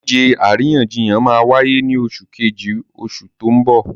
Ìdíje àríyànjiyàn máa wáyé ní oṣù Kejì oṣù tó n bò